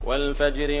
وَالْفَجْرِ